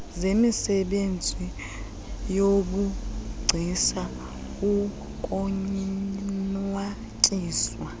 zemisebenzi yobugcisa ukonwatyiswa